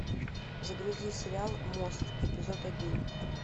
загрузи сериал мост эпизод один